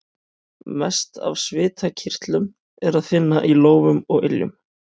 Mest af svitakirtlum er að finna í lófum og iljum.